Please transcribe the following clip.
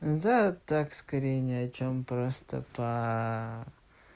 да так скорее ни о чём просто по